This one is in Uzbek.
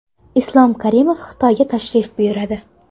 Islom Karimov Xitoyga tashrif buyuradi.